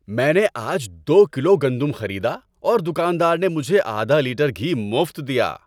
میں نے آج دو کلو گندم خریدا اور دکاندار نے مجھے آدھا لیٹر گھی مفت دیا۔